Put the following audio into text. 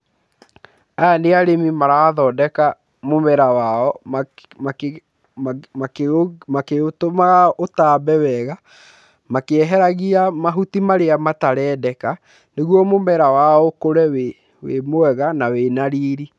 Aya nĩ arĩmi marathondeka mũmera wao, makĩũtũmaga ũtambe wega, makĩeheragia mahuti marĩa matarendeka, nĩguo mũmera wao ũkũre wĩ mwega na wĩ na riri.